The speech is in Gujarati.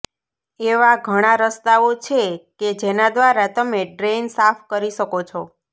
એવા ઘણા રસ્તાઓ છે કે જેના દ્વારા તમે ડ્રેઇન સાફ કરી શકો છો